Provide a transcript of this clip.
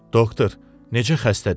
Doktor, necə xəstə deyil.